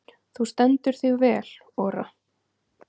Þú stendur þig vel, Ora!